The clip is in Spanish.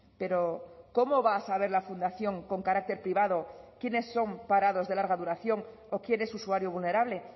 pero cómo va a saber la fundación con carácter privado quiénes son parados de larga duración o quién es usuario vulnerable